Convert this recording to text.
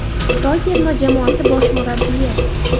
Xitoy terma jamoasi bosh murabbiyi.